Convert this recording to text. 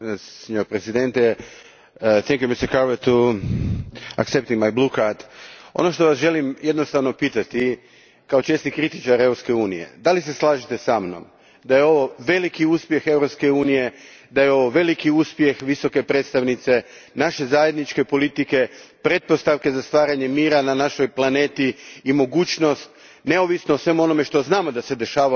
Ono što želim jednostavno pitati, kao česti kritičar Europske unije, slažete li se sa mnom da je ovo veliki uspjeh Europske unije, da je ovo veliki uspjeh Visoke predstavnice, naše zajedničke politike, pretpostavka za stvaranje mira na našoj planeti i mogućnost, neovisno o svemu onome što znamo da se dešava u Iranu, da ipak Iran bude zemlja koja će pridonositi miru na našem planetu?